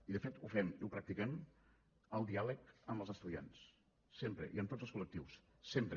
i de fet ho fem i ho practiquem el diàleg amb els estudiants sempre i amb tots els col·lectius sempre